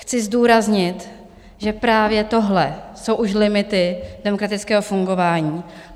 Chci zdůraznit, že právě tohle jsou už limity demokratického fungování.